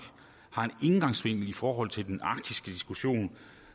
har en indgangsvinkel i forhold til den arktiske diskussion